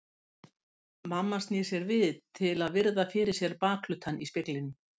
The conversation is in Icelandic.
Mamma snýr sér við til að virða fyrir sér bakhlutann í speglinum.